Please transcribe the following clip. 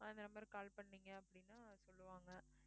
ஆஹ் இந்த number க்கு call பண்ணீங்க அப்படின்னா சொல்லுவாங்க